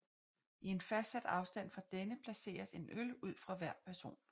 I en fastsat afstand fra denne placeres en øl ud fra hver person